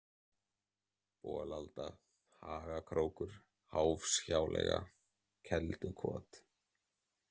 Bolalda, Hagakrókur, Háfshjáleiga, Kelduholt